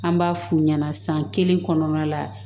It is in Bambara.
An b'a f'u ɲɛna san kelen kɔnɔna la